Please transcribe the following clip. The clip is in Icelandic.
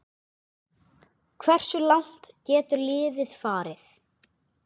Hversu langt getur liðið farið?